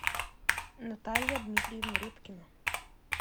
наталья дмитриевна репкина